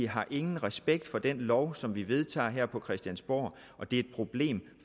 har ingen respekt for den lov som vi vedtager her på christiansborg og det er et problem